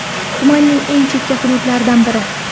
Tumanning eng chekka hududlaridan biri.